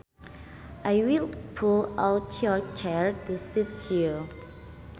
I will pull out your chair to seat you